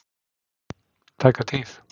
tæka tíð.